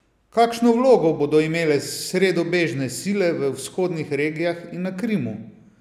Kakšno vlogo bodo imele sredobežne sile v vzhodnih regijah in na Krimu?